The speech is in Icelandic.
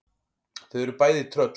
Þau eru bæði tröll.